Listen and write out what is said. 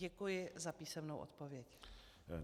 Děkuji za písemnou odpověď.